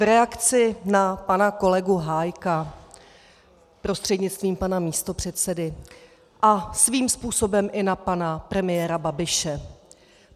V reakci na pana kolegu Hájka prostřednictvím pana místopředsedy a svým způsobem i na pana premiéra Babiše.